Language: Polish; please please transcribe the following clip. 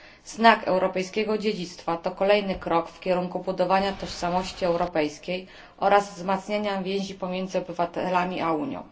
Znak europejskiego dziedzictwa to kolejny krok w kierunku budowania tożsamości europejskiej oraz wzmacniania więzi pomiędzy obywatelami a Unią.